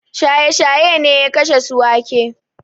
Shaye-shaye ne ya kashe Ciwake.